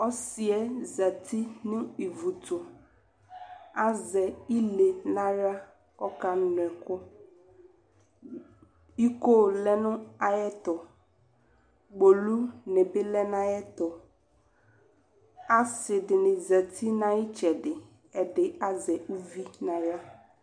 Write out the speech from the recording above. Ɔsɩ yɛ zati nʋ ivu tʋ Azɛ ile nʋ aɣla kʋ ɔkanʋ ɛkʋ Iko lɛ nʋ ayɛtʋ Kpolunɩ bɩ lɛ nʋ ayɛtʋ Asɩ dɩnɩ zati nʋ ayʋ ɩtsɛdɩ, ɛdɩ azɛ uvi nʋ aɣla